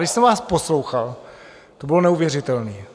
Když jsem vás poslouchal, to bylo neuvěřitelné.